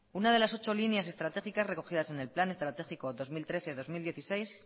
una de las ocho líneas estratégicas recogidas en el plan estratégico dos mil trece dos mil dieciséis